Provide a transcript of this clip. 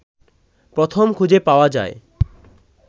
প্রথম খুঁজে পাওয়া যায়